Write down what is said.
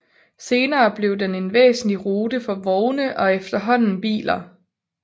Senere blev den en væsentlig rute for vogne og efterhånden biler